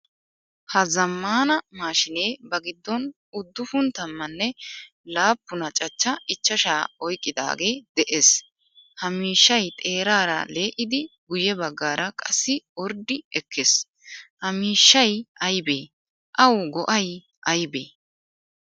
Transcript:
Ha zammaana mashshine ba giddon uddufun tammaen laappuna cachcha ichchasha oyqqidage de'ees. Ha miishshay xeerara lee'idi guye baggaara qassi orddi ekkees. Ha miishshay aybe? Awu go'ay aybe?